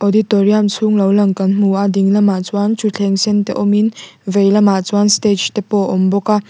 auditorium chhung lo lang kan hmu a ding lamah chuan thutthleng sen te awm in vel lamah chuan stage te pawh awm bawk a.